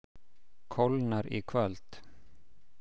Kólnar í kvöld